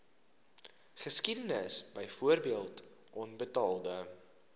geskiedenis byvoorbeeld onbetaalde